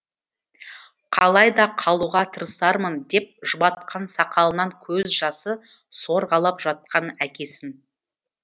қалай да қалуға тырысармын деп жұбатқан сақалынан көз жасы сорғалап жатқан әкесін